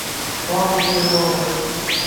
павлу смирнову